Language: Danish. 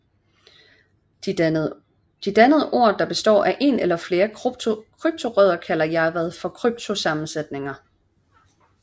De dannede ord der består ef en eller flere kryptorødder kalder Jarvad for kryptosammensætninger